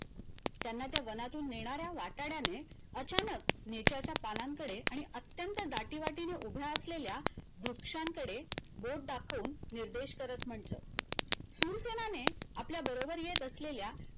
त्यांना त्या वनातून नेणाऱ्या वाटाडयाने अचानक नेच्याचा पानांन कडे आणि अत्यंत दाटी वतीने उभ्या असलेल्या वृक्षांकडे बोट दाखवून निर्देश करत म्हटलं शूरसेनाने आपल्या बरोबर येत असलेल्या